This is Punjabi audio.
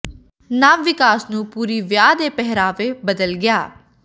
ਨਵ ਿਵਕਾਸ ਨੂੰ ਪੂਰੀ ਵਿਆਹ ਦੇ ਪਹਿਰਾਵੇ ਬਦਲ ਗਿਆ